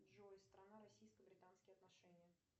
джой страна российско британские отношения